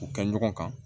U kɛ ɲɔgɔn kan